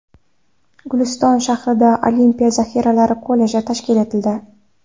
Guliston shahrida Olimpiya zaxiralari kolleji tashkil etildi.